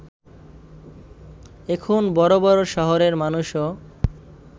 এখন বড় বড় শহরের মানুষও